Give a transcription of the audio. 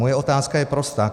Moje otázka je prostá.